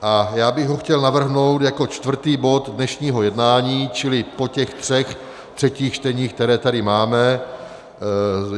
A já bych ho chtěl navrhnout jako čtvrtý bod dnešního jednání, čili po těch třech třetích čteních, která tady máme.